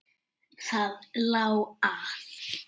Það lá að.